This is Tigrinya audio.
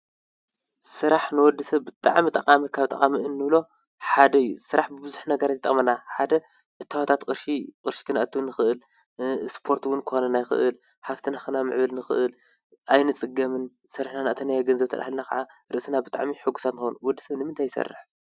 ስራሕ ንወድሰብ ብጥዕሚ ጠቓሚ ካብ ጠቕሚእንብሎ ሓደ እዩ፡፡ ስራሕ ብዙሕ ነገር አዩ ዝጠቕመና ሓደ እታወታት ቅርሺ፣ ቕርሺ ክነእቱ ንኽእል እስፖርት ውን ክኾነና ይክእል፡፡ ሃብቲ ንኽነምዕብል ንኽእል ኣይንጽገምን ስርሕና ዘእተናዮ ገንዘብ ኸዓ ርእስና ብጣዕሚ ሕጉሳት ንኾን፡፡ ወድ ሰብ ንምንታይ ኣይሠርሕን?